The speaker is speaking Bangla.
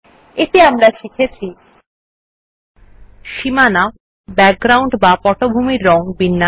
এতে আমরা শিখেছি160 সীমানা পটভূমির রং বিন্যাস